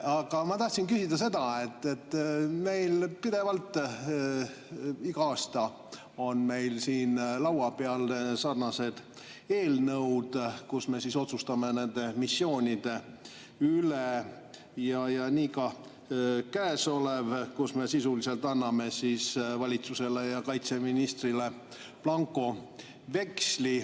Aga ma tahtsin küsida seda, et meil on pidevalt, iga aasta laua peal sarnased eelnõud, kus me otsustame nende missioonide üle, ja nii ka käesolev, kus me sisuliselt anname valitsusele ja kaitseministrile blankoveksli.